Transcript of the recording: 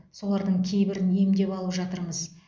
солардың кейбірін емдеп алып жатырмыз